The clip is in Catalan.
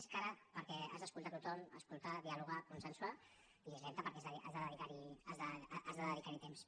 és cara perquè has d’escoltar tothom escoltar dialogar consensuar i és lenta perquè has de dedicarhi temps